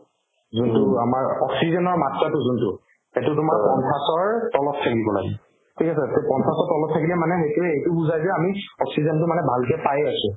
যোনতো আমাৰ oxygen ৰ মাত্ৰাতো যোনতো সেইতো তোমাৰ পঞ্চাশৰ তলত থাকিব লাগে ঠিক আছে to পঞ্চাশৰ তলত থাকিলে মানে সেইটোয়ে এইটো বুজাই যে আমি oxygen তো মানে ভালকে পাই আছো